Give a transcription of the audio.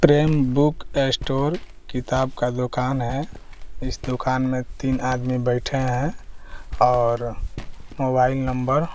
train book store किताब का दुकान है इस दुकान में तीन आदमी बैठे हैं और मोबाइल नंबर --